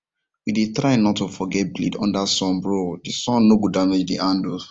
we dey try not to forget blade under sunbro the sun nor go demage the handles